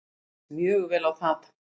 Mér líst mjög vel á það.